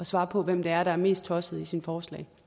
svare på hvem det er der er mest tosset i sine forslag